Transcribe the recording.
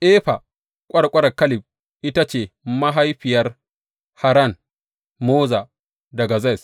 Efa ƙwarƙwarar Kaleb ita ce mahaifiyar Haran, Moza da Gazez.